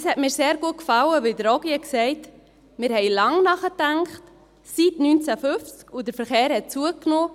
Mir hat sehr gut gefallen, dass Herr Ogi sagte: «Wir haben lange nachgedacht seit 1950, und der Verkehr hat zugenommen.